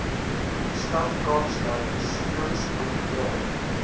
stad kaapstad besoedelingsmonitering